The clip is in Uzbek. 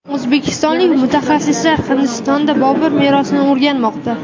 O‘zbekistonlik mutaxassislar Hindistonda Bobur merosini o‘rganmoqda.